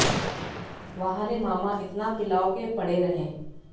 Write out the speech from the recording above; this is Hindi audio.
वाह रे मामा इतना पिलाओ के पड़े रहें